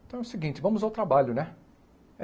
Então é o seguinte, vamos ao trabalho, né? Eh